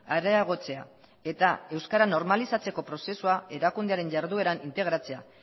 areagotzea eta euskara normalizatzeko prozesua erakundearen jardueran integratzea